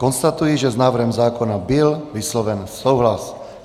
Konstatuji, že s návrhem zákona byl vysloven souhlas.